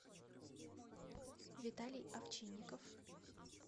виталий овчинников